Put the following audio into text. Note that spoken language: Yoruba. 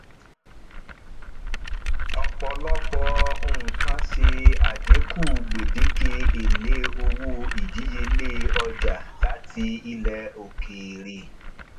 ọpọlọpọ nkán ṣe adínkú gbedeke ele owó ìdíyelé ọjà láti ilẹ òkèèrè